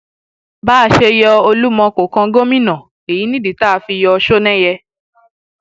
bá a ṣe yọ olúmọ yọ olúmọ kó kàn gómìnà èyí nìdí tá a fi yọ ọ sọnẹyẹ